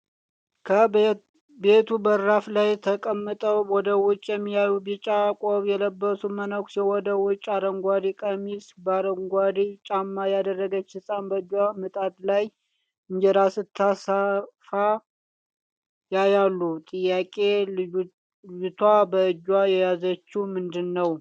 ከቤቱ በራፍ ላይ ተቀምጠው ወደ ውጭ የሚያዩ ቢጫ ቆብ የለበሱ መነኩሴ ወደ ውጭ አረንጓዴ ቀሚስ በአረንጓዴ ጫማ ያደረገች ሕፃን በእጇ ምጣድ ላይ እንጀራ ስታሰፋ ያያሉ ጥያቄ :- ልጅቷ በእጇ የያዘችው ምንድንነው?